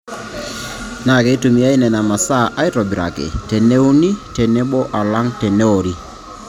Naa keitumiya Nena masaa aaitobiraki teneuni tenebo alang teneori.